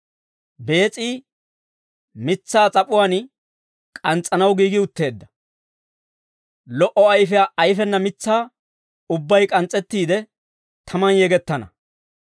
Bees'i mitsaa s'ap'uwaan k'ans's'anaw giigi utteedda; lo"o ayfiyaa ayfena mitsaa ubbay k'ans's'ettiide, tamaan yegettana.